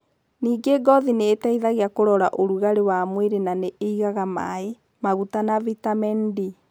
Ningĩ ngothi nĩ ĩteithagia kũrora ũrugarĩ wa mwĩrĩ na nĩ ĩigaga maĩ, maguta na vitamin D.